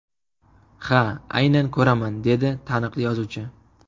Ha, aynan ko‘raman”, dedi taniqli yozuvchi.